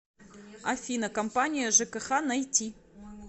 афина компания жкх найти